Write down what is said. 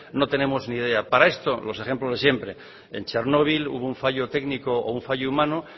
no tenemos ni idea para esto los ejemplos de siempre en chernobyl hubo un fallo técnico o un fallo humano